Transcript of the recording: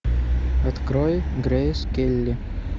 открой грейс келли